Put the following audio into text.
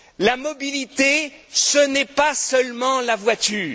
La mobilité, ce n'est pas seulement la voiture.